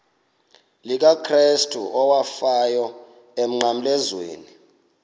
likakrestu owafayo emnqamlezweni